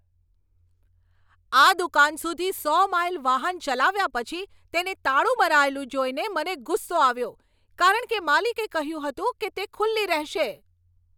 આ દુકાન સુધી સો માઈલ વાહન ચલાવ્યા પછી તેને તાળું મરાયેલું જોઈને મને ગુસ્સો આવ્યો, કારણ કે માલિકે કહ્યું હતું કે તે ખુલ્લી રહેશે.